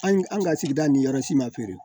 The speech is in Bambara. An ka sigida ni yɔrɔ si ma feere